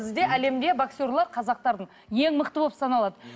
бізде әлемде боксерлық қазақтардың ең мықты болып саналады